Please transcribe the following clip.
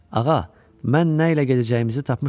“Ağa, mən nə ilə gedəcəyimizi tapmışam.